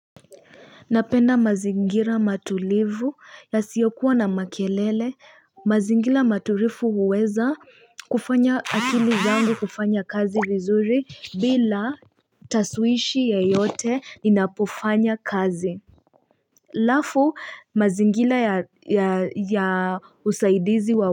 Napenda mazingira matulivu yasiyokuwa na makelele mazingira matulivi huweza kufanya akili zangu kufanya kazi vizuri bila tasuishi ya yote inapofanya kazi alafu mazingira ya usaidizi wa wakini.